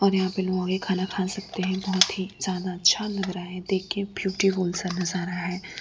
ओर यहां पे लोगके खाना खा सकते है बहुत ही ज्यादा अच्छा लग रहा है देख के ब्यूटीफुल सा नजारा है।